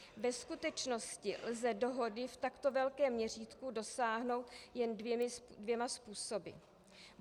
Ve skutečnosti lze dohody v takto velkém měřítku dosáhnout jen dvěma způsoby.